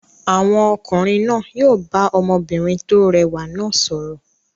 Àwọn ọkùnrin náà yóò bá ọmọbìnrin tó rẹwà náà sọ̀rọ̀.